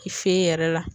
I fe yen yɛrɛ la